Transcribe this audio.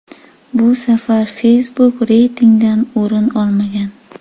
Bu safar Facebook reytingdan o‘rin olmagan.